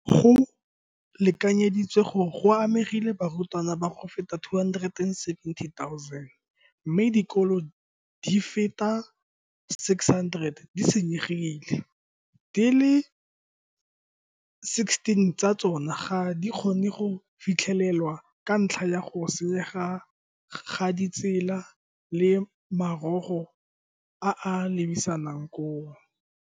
Go lekanyeditswe gore go amegile barutwana ba feta 270 000, mme dikolo di feta 600 di senyegile, di le 16 tsa tsona ga di kgone go fitlhelelwa ka ntlha ya go senyega ga ditsela le marogo a a lebisang koo.